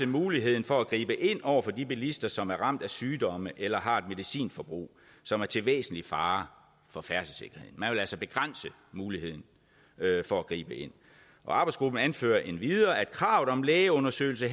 muligheden for at gribe ind over for de bilister som er ramt af sygdomme eller har et medicinforbrug som er til væsentlig fare for færdselssikkerheden man vil altså begrænse muligheden for at gribe ind og arbejdsgruppen anfører endvidere kravet om lægeundersøgelse